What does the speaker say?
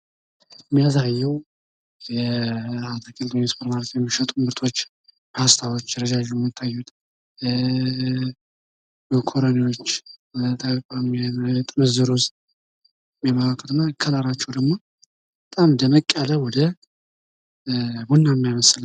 ምስሉ የሚያሳየው የሱፐርማርኬት ምርቶችን ሲሆን፤ ረጃጅም ፓስታዎች፣ ጥምዝና ጥምዝ ያልሆኑ መኮረኒዎች ይታያሉ። ቀለማቸውም ደማቅ ቢጫ ነው።